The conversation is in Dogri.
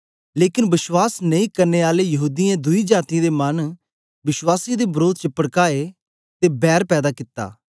लेकन विश्वास नेई करने आले यहूदीयें दुई जातीयें दे मन विश्वासियें दे वरोध च पड़काए ते बैर पैदा कित्ती